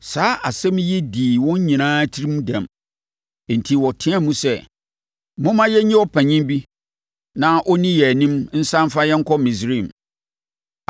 Saa asɛm yi dii wɔn nyinaa tirim dɛm. Enti wɔteaam sɛ, “Momma yɛnyi ɔpanin bi na ɔnni yɛn anim nsane mfa yɛn nkɔ Misraim.”